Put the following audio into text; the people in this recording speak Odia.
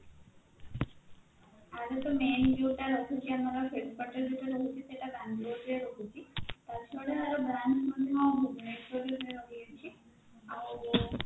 ଆର ତ main ଯୋଉଟା ରହୁଛି ଆମର head quarter ଯୋଉଟା ରହୁଛି ସେଟା Bangalore ରେ ରହୁଛି ତାଛଡା branch ମଧ୍ୟ ଭୁବନେଶ୍ବରରେ ରହିଛି ଆଉ